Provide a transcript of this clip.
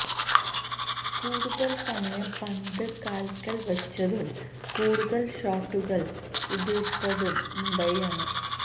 കൂടുതല് സമയം പന്ത് കാല്ക്കല് വച്ചതും കൂടുതല് ഷോട്ടുകള് ഉതിര്ത്തതും മുംബൈയാണ്